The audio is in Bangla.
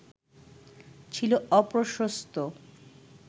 ছিল অপ্রশস্ত